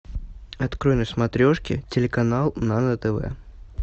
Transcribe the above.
открой на смотрешке телеканал нано тв